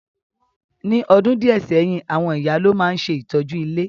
Ní odùn díẹ̀ sẹ́yìn, àwon ìyá lo ma n se ìtọ́jú ilé.